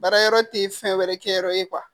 Baara yɔrɔ tɛ fɛn wɛrɛ kɛ yɔrɔ ye